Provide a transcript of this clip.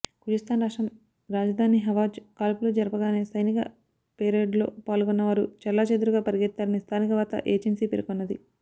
Khuzestan రాష్ట్రం రాజధాని Ahvaz కాల్పులు జరపగానే సైనిక పెరేడ్లో పాల్గొన్నవారు చెల్లాచెదరుగా పరిగెత్తారని స్థానిక వార్తా ఏజెన్సీ పేర్కొన్నది